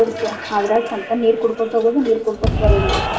ಅದ್ರಾಗ ಸಂಚಾನ್ ನೀರ್ ಕುಂಡ್ಕೊಂತ ಹೋಗುದು ನೀರ್ ಕುಡ್ಕೊಂತ ಬರುದು.